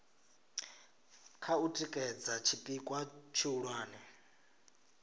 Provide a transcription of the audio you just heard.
kha u tikedza tshipikwa tshihulwane